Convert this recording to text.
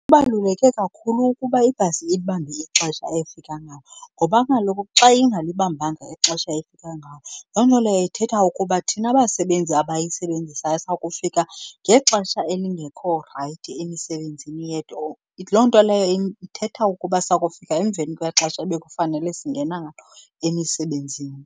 Kubaluleke kakhulu ukuba ibhasi ilibambe ixesha efika ngalo ngoba kaloku xa ingalibambanga ixesha efika ngalo, loo nto leyo ithetha ukuba thina basebenzi abayisebenzisayo sakufika ngexesha elingekho rayithi emisebenzini yethu or. Loo nto leyo ithetha ukuba sakufika emveni kwexesha ebekufanele singena ngalo emisebenzini.